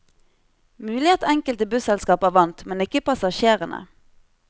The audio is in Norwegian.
Mulig at enkelte busselskaper vant, men ikke passasjerene.